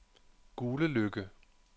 Guleløkke